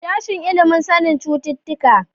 Sashen ilimin sanin cututtuka.